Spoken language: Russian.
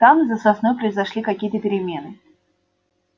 там за сосной произошли какие то перемены